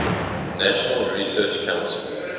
national research council